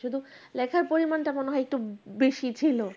শুধু লেখার পরিমাণটা মনে হয় একটু বেশী ছিল।